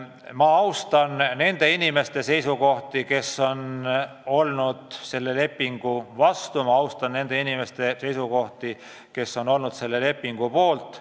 Ma austan nende inimeste seisukohti, kes on olnud selle lepingu vastu, ma austan nende inimeste seisukohti, kes on olnud selle lepingu poolt.